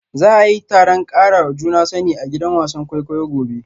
Za a yi taron karawa juna sani a gidan wasan kwaikwayo gobe